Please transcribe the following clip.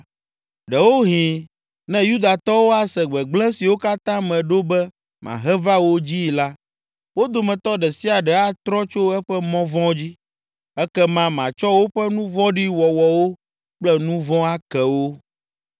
Ɖewohĩ ne Yudatɔwo ase gbegblẽ siwo katã meɖo be mahe va wo dzii la, wo dometɔ ɖe sia ɖe atrɔ tso eƒe mɔ vɔ̃ dzi; ekema matsɔ woƒe nu vɔ̃ɖi wɔwɔwo kple nu vɔ̃ ake wo.”